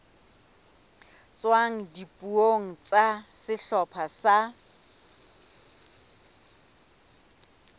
tswang dipuong tsa sehlopha sa